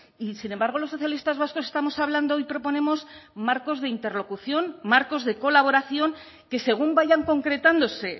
y sin embargo los socialistas vascos estamos hablando y proponemos marcos de interlocución marcos de colaboración que según vayan concretándose